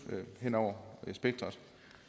henover spektret